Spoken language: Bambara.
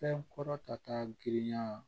Fɛn kɔrɔ ta girinya